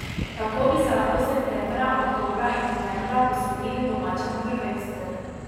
Tako bi se lahko septembra, oktobra in novembra posvetili domačemu prvenstvu.